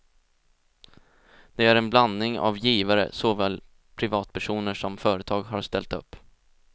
Det är en blandning av givare, såväl privatpersoner som företag har ställt upp.